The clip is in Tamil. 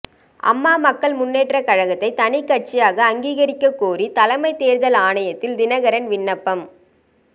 அம்மா மக்கள் முன்னேற்ற கழகத்தை தனிக்கட்சியாக அங்கீகரிக்க கோரி தலைமை தேர்தல் ஆணையத்தில் தினகரன் விண்ணப்பம்